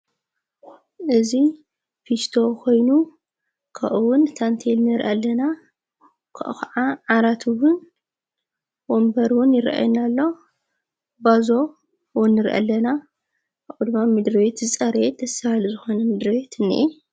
እዙይ ፊስቶ ኾይኑ ከኡውን ታንተይልኔር ኣለና ክ ኸዓ ዓራትውን ወንበርውን ይርአና ኣሎ ባዞ ወንር አለና ኣቝድባ ምድርቤት ዝጸረየድ ደሠ በሃሊ ዝኾነ ምድርቤት ነየ።